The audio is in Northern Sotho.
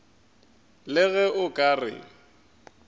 le ge o ka re